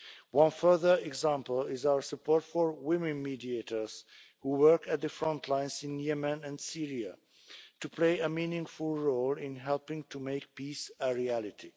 One further example is our support for women mediators who work at the front lines in Yemen and Syria to play a meaningful role in helping to make peace a reality.